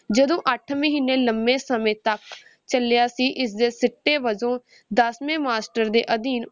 ਜਦੋਂ ਅੱਠ ਮਹੀਨੇ ਲੰਬੇ ਸਮੇਂ ਤੱਕ ਚੱਲਿਆ ਸੀ, ਇਸਦੇ ਸਿੱਟੇ ਵਜੋਂ ਦੱਸਵੇਂ master ਦੇ ਅਧੀਨ